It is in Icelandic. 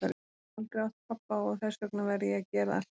Ég hef aldrei átt pabba og þess vegna verð ég að gera allt sjálfur.